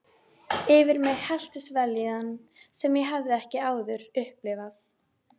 Yfir mig helltist vellíðan sem ég hafði ekki áður upplifað.